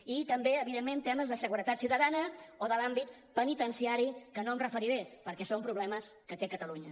i també evidentment temes de seguretat ciutadana o de l’àmbit penitenciari que no m’hi referiré perquè són problemes que té catalunya